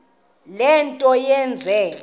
le nto yenze